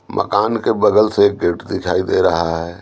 मकान के बगल से एक गेट दिखाई दे रहा है।